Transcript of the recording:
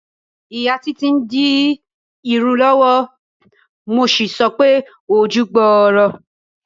Ìyá Títí ń di irun lọ́wọ́, mo sì sọ pé "ojú gbooro o".